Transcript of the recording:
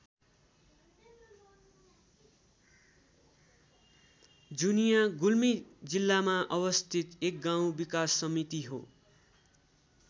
जुनिया गुल्मी जिल्लामा अवस्थित एक गाउँ विकास समिति हो।